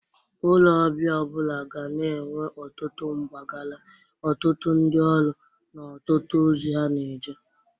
Ụlọ ọbịa ọ bụla ga na-enwe ọtụtụ mgbagara, ọtụtụ ndị ọrụ na ọtụtụ ozi ha na-eje.